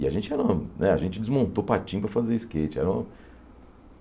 E a gente era né a gente desmontou patins para fazer skate. Era uma